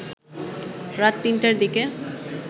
রাত ৩টার দিকে